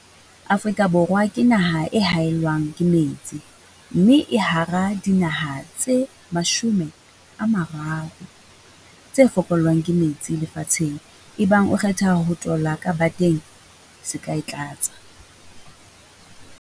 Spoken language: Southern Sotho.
Afrika Borwa ke naha e haellwang ke metsi, mme e hara dinaha tse 30 tse fokollwang ke metsi lefatsheng. Ebang o kgetha ho tola ka bateng, se ka e tlatsa.